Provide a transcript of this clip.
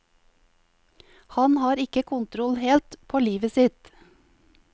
Han har ikke kontroll, helt, på livet sitt.